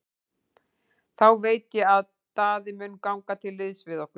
Þá veit ég að Daði mun ganga til liðs við okkur.